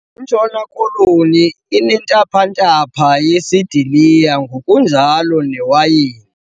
Intshona Koloni inentaphantapha yesidiliya ngokunjalo newayini.